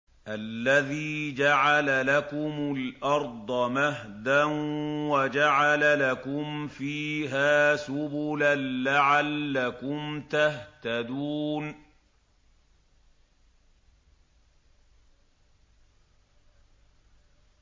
الَّذِي جَعَلَ لَكُمُ الْأَرْضَ مَهْدًا وَجَعَلَ لَكُمْ فِيهَا سُبُلًا لَّعَلَّكُمْ تَهْتَدُونَ